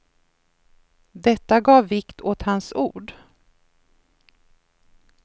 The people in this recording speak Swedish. Detta gav vikt åt hans ord.